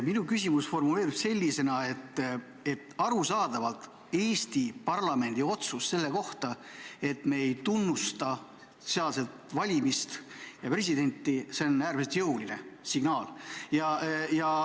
Minu küsimus formuleerub sellisena, et arusaadavalt on Eesti parlamendi otsus selle kohta, et me ei tunnusta Valgevene valimisi ja presidenti, äärmiselt jõuline signaal.